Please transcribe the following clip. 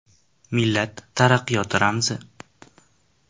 Millat taraqqiyoti ramzi.